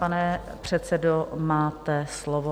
Pane předsedo, máte slovo.